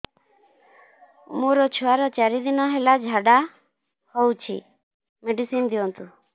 ମୋର ଛୁଆର ଚାରି ଦିନ ହେଲା ଝାଡା ହଉଚି ମେଡିସିନ ଦିଅନ୍ତୁ